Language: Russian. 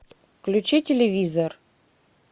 включи телевизор